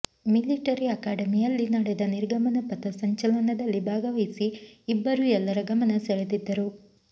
military ಆಕಾಡೆಮಿಯಲ್ಲಿ ನಡೆದ ನಿರ್ಗಮನ ಪಥ ಸಂಚಲನದಲ್ಲಿ ಭಾಗವಹಿಸಿ ಇಬ್ಬರು ಎಲ್ಲರ ಗಮನ ಸೆಳೆದಿದ್ದರು